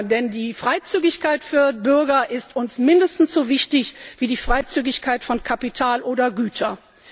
denn die Freizügigkeit für Bürger ist uns mindestens so wichtig wie die Freizügigkeit von Kapital oder Gütern.